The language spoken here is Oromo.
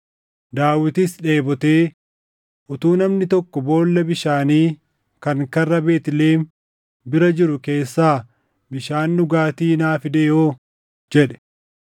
Daawitis Dheebotee, “Utuu namni tokko boolla bishaanii kan karra Beetlihem bira jiru keessaa bishaan dhugaatii naa fidee hoo!” jedhe.